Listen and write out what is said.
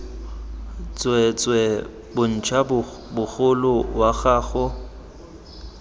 tsweetswee bontsha mogolo wa gago